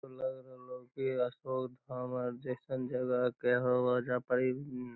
इ लग रहलो की अशोक धाम आर जैसन जगह के होअ ओयजा पर इ --